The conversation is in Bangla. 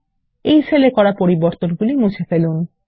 এই সেল এ করা পরিবর্তন মুছে ফেলুন